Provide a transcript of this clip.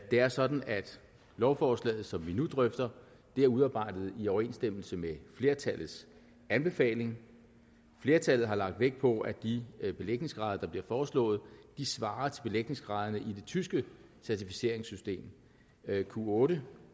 det er sådan at lovforslaget som vi nu drøfter er udarbejdet i overensstemmelse med flertallets anbefaling flertallet har lagt vægt på at de belægningsgrader der bliver foreslået svarer til belægningsgraderne i det tyske certificeringssystem q8